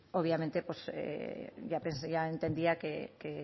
obviamente pues ya entendía que